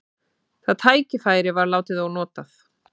Það tækifæri var látið ónotað.